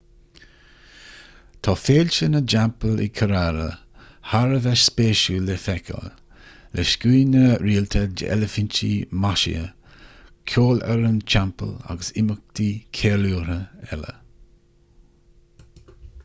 tá féilte na dteampall i kerala thar a bheith spéisiúil le feiceáil le scuaine rialta d'eilifintí maisithe ceolfhoireann teampaill agus imeachtaí ceiliúrtha eile